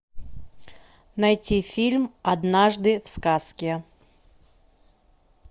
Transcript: найти фильм однажды в сказке